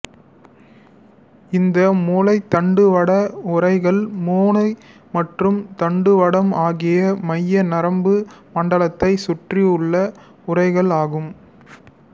இந்த மூளைத் தண்டுவட உறைகள் மூளை மற்றும் தண்டுவடம் ஆகிய மைய நரம்பு மண்டலத்தை சுற்றி உள்ள உறைகள் ஆகும்